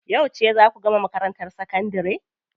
Yauce zaa ku gama makarantar sakandari?